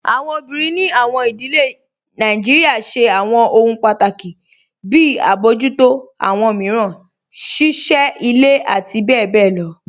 Awọn obìnrin ní awọn ìdílẹ̀ Nàìjíríà ṣẹ̀ awọn òhun pátákì, bí àbọjútọ̀ awọn miíràn, ṣíṣẹ́ ilẹ̀, àti bẹ̀bẹ̀ lọ.